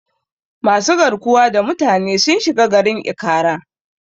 Masu garkuwa da mutane sun shiga garin Ikara.